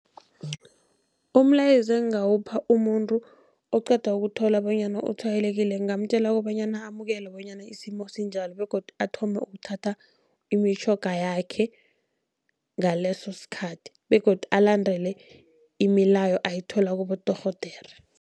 Umlayezo engingawupha umuntu oqeda ukuthola bonyana utshwayelekile. Ngingamtjela kobanyana amukele bonyana isimo sinjalo begodu athome ukuthatha imitjhoga yakhe ngaleso sikhathi. Begodu alandele imilayo ayithola kibodorhodere.